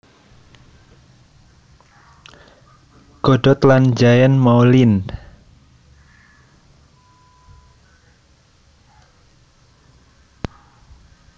Godot lan Jean Moulind